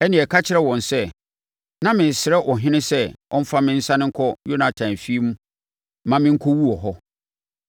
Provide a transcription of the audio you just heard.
ɛnneɛ ka kyerɛ wɔn sɛ, ‘Na meresrɛ ɔhene sɛ ɔmmfa me nsane nkɔ Yonatan efie mma me nkɔwu wɔ hɔ.’ ”